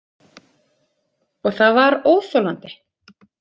Og það var óþolandi.